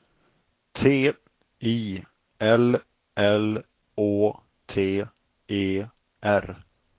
T I L L Å T E R